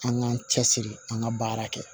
An k'an cɛsiri an ka baara kɛ